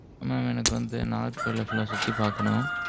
mam எனக்கு வந்து, நாகர்கோயிலை full ஆ, சுத்தி பாக்கணும்.